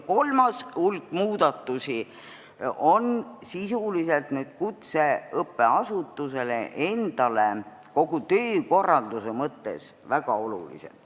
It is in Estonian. Kolmas hulk muudatusi on sisuliselt kutseõppeasutusele endale kogu töökorralduse mõttes väga tähtsad.